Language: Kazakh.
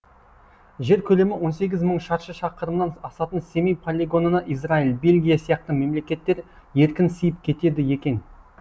жер көлемі он сегіз мың шаршы шақырымнан асатын семей полигонына израиль бельгия сияқты мемлекеттер еркін сиып кетеді екен